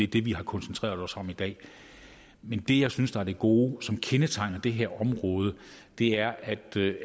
det vi har koncentreret os om i dag men det jeg synes der er det gode og som kendetegner det her område er at